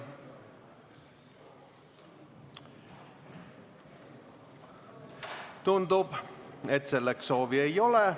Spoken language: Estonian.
Tundub, et selleks soovi ei ole.